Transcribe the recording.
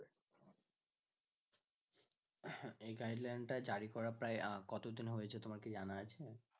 এই guideline টা জারি করা প্রায় কতদিন হয়েছে তোমার কি জানা আছে